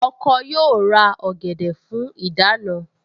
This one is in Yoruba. Ọkọ yóò ra ọ̀gẹ̀dẹ̀ fún ìdáná